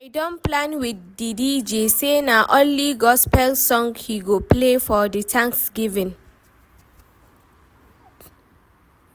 I don plan with di DJ say na only gospel song he go play for the thanksgiving